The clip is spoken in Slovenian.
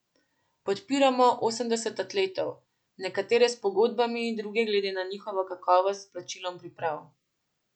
Podpiramo osemdeset atletov, nekatere s pogodbami, druge glede na njihovo kakovost s plačilom priprav.